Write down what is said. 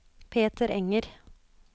Peter Enger